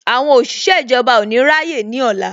Àwọn òṣìṣẹ́ ìjọba ò ní rá yé ní ọ̀la